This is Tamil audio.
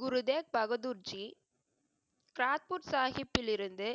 குருதேவ் பகதூர் ஜி, பிராட்புட் சாஹிப்பில் இருந்து